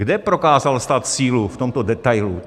Kde prokázal stát sílu v tomto detailu?